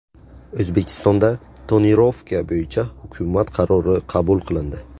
O‘zbekistonda tonirovka bo‘yicha hukumat qarori qabul qilindi.